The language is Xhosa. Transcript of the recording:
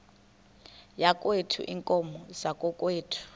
yakokwethu iinkomo zakokwethu